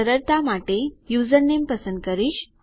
સરળતા માટે યુઝરનેમ પસંદ કરીશ